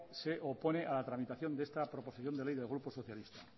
se opone a la tramitación de esta proposición de ley del grupo socialista